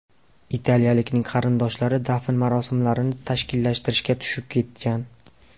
Italiyalikning qarindoshlari dafn marosimlarini tashkillashtirishga tushib ketgan.